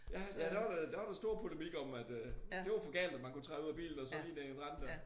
Ja ja dér var der dér var der stor polemik om at øh det var for galt at man kunne træde ud af bilen og så lige ned i en rende dér